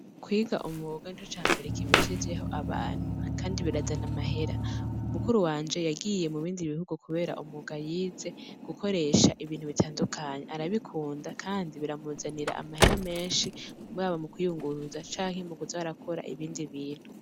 Kwiga umwuga nico cambere kibeshejeho abantu kandi birazana amahera mukuru wanje yagiye mubindi bihugu kubera umwuga yize gukoresha ibintu bitandukanye arabikunda kandi biramuzanira amahera menshi haba mukwiyunguruza canke mukuza arakora ibindi bintu.